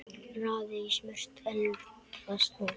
Raðið í smurt eldfast mót.